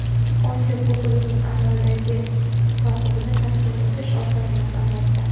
Osiyo Kubogining amaldagi sohibini taslim etish oson emas, albatta.